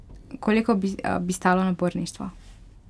Koliko bi stalo naborništvo?